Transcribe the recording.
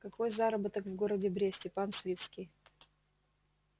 какой заработок в городе бресте пан свицкий